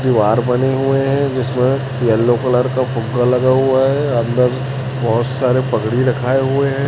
दीवार बने हुए हैं जिसमें यलो कलर का फुग्गा लगा हुआ हैं अंदर बहोत सारे पगड़ी रखाए हुए हैं।